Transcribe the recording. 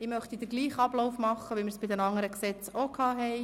Ich schlage denselben Ablauf vor wie bei den anderen Gesetzen: